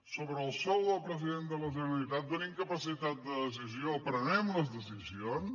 sobre el sou del president de la generalitat tenim capacitat de decisió prenguem les decisions